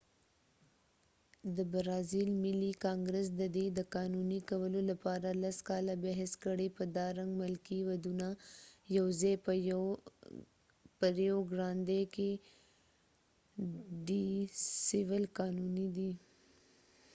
د برازیل ملي کانګرس ددې د قانونی کولو لپاره لس کاله بحث کړي په دا رنګ ملکې ودونه یوازې په ریو ګرانډی ډی سول rio grande do sur کې قانونی دي